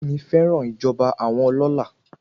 Bídèmí fẹ́ràn ìjọba àwọn ọlọlá.